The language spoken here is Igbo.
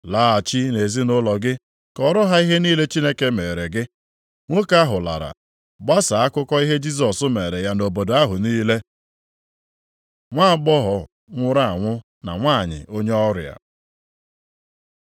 “Laghachi nʼezinaụlọ gị kọọrọ ha ihe niile Chineke meere gị.” Nwoke ahụ lara, gbasaa akụkọ ihe Jisọs meere ya nʼobodo ahụ niile. Nwa agbọghọ nwụrụ anwụ na nwanyị onye ọrịa